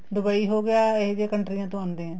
Dubai ਹੋ ਗਿਆ ਇਹ ਜੀਆਂ ਕੰਨਟਰੀਆਂ ਤੋ ਆਂਦੇ ਐ